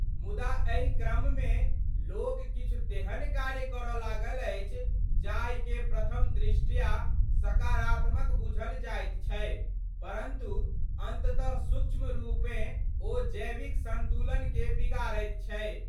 मुदा एहि क्रममे लोक किछु तेहन कार्य करड लागल अछि जाहिके प्रथम दृष्टया सकारात्मक बुझल जाइत छै परन्तु अन्ततः सूक्ष्म रूपँ ओ जैविक सन्तुलनके बिगाड़ैत छै।